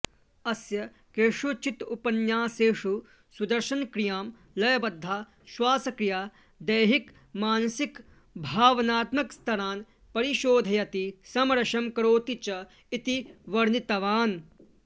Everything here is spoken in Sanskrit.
अस्य केषुचित् उपन्यासेषु सुदर्शनक्रियां लयबद्धा श्वासक्रिया दैहिकमनसिकभावनात्मकस्तरान् परिशोधयति समरसं करोति च इति वर्णितवान्